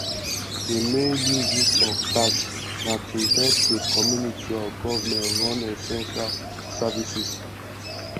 di main uses of tax na to help di community or government run essential services